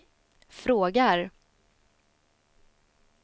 frågar